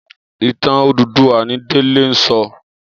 Itàn Ódúdúwà ni Dele n sò